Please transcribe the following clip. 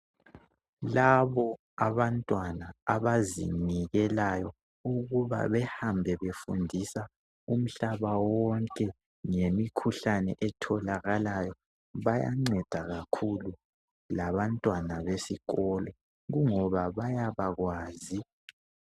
Labo abantwana abazinikelayo ukuba behambe befundisa umhlaba wonke ngemikhuhlane etholakalayo, bayanceda kakhulu labantwana besikolo ingoba bayabakwazi